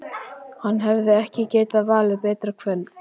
Hann hefði ekki getað valið betra kvöld.